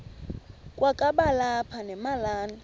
kwakaba lapha nemalana